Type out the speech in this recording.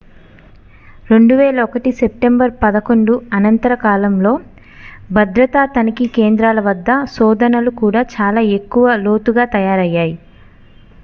2001 September 11 అనంతర కాలంలో భద్రతా తనిఖీ కేంద్రాల వద్ద శోధనలు కూడా చాలా ఎక్కువ లోతుగా తయారయ్యాయి